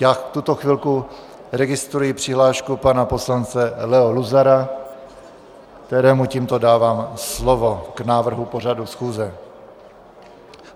Já v tuto chvilku registruji přihlášku pana poslance Leo Luzara, kterému tímto dávám slovo k návrhu pořadu schůze.